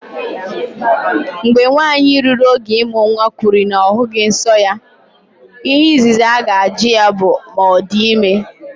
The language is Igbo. Mgbe nwanyị ruru oge ịmụ nwa kwuru na ya ahụghị nsọ ya, ihe izizi aga-ajụ ya bụ ma ọ dị ime.